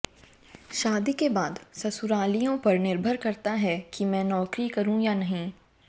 शादी के बाद ससुरालियों पर निर्भर करता है कि मैं नौकरी करूं या नहीं